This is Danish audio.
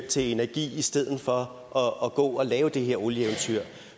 til energi i stedet for at gå og lave det her olieeventyr